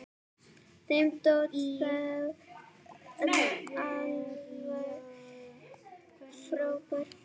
Þeim þótti þú alveg frábær.